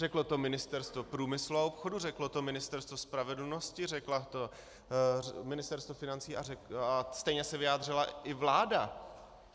Řeklo to Ministerstvo průmyslu a obchodu, řeklo to Ministerstvo spravedlnosti, řeklo to Ministerstvo financí a stejně se vyjádřila i vláda.